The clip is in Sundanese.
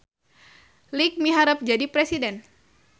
Iik miharep jadi presiden